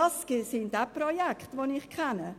Das sind auch Projekte, die ich kenne.